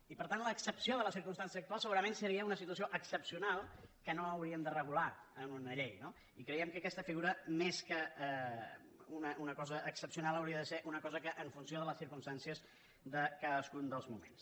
i per tant l’excepció de la circumstància actual segurament seria una situació excepcional que no hauríem de regular en una llei no i creiem que aquesta figura més que una cosa excepcional hauria de ser una cosa en funció de les circumstàncies de cadascun dels moments